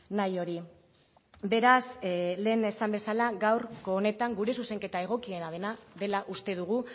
nahi hori beraz lehen esan bezala gaurko honetan gure zuzenketa egokiena dela uste dugu